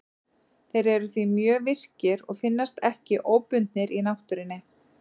Þeir eru því mjög virkir og finnast ekki óbundnir í náttúrunni.